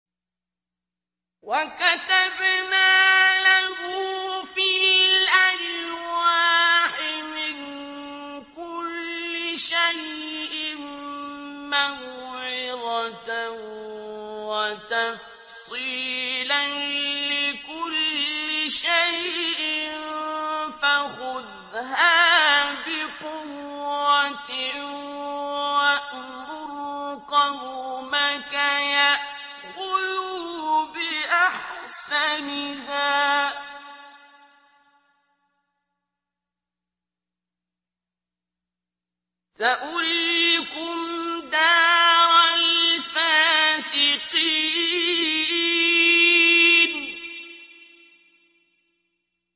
وَكَتَبْنَا لَهُ فِي الْأَلْوَاحِ مِن كُلِّ شَيْءٍ مَّوْعِظَةً وَتَفْصِيلًا لِّكُلِّ شَيْءٍ فَخُذْهَا بِقُوَّةٍ وَأْمُرْ قَوْمَكَ يَأْخُذُوا بِأَحْسَنِهَا ۚ سَأُرِيكُمْ دَارَ الْفَاسِقِينَ